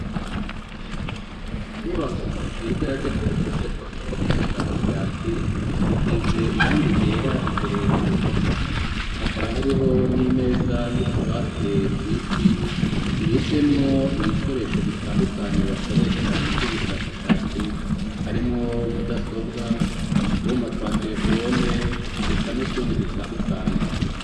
Mu nyubako nziza yagenewe gukurerwamwo ubushakashatsi isize irangi ryera imbere ku ruhome hakaba hariho n'imeza n'utubati twishi tubitsemwo ibikoresho bitandukanye bakoresha mu vy'ubushakashatsi harimwo mudasobwa utwuma twa terefone eka n'utundi dutandukanye